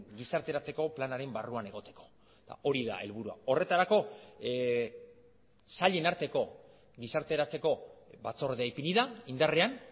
gizarteratzeko planaren barruan egoteko hori da helburua horretarako sailen arteko gizarteratzeko batzordea ipini da indarrean